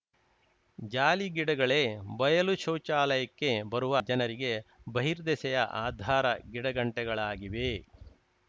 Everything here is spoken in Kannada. ಜಾಲಿಗಿಡಗಳೇ ಬಯಲು ಶೌಚಾಲಯಕ್ಕೆ ಬರುವ ಜನರಿಗೆ ಬಹಿರ್ದೆಸೆಯ ಆಧಾರ ಗಿಡಗಂಟೆಗಳಾಗಿವೆ